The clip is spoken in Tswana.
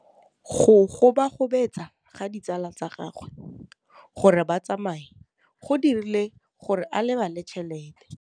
Go gobagobetsa ga ditsala tsa gagwe, gore ba tsamaye go dirile gore a lebale tšhelete.